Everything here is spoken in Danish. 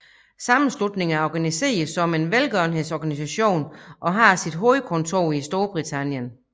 Sammenslutningen er organiseret som en velgørenhedsorganisation og har sit hovedkontor i Storbritannien